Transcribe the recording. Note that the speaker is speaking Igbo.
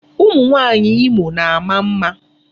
Ụmụ nwaanyị Imo na-ama mma.